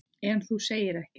En þú segir ekkert.